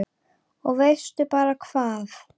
Og veistu bara hvað